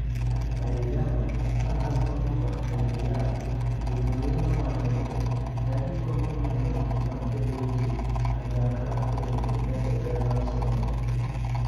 ei Ghana, kaka somo kod IVR jopuonjre ne owacho ni ne gigombo neno gima kelo gi kanyakla kendo medo ber mar somo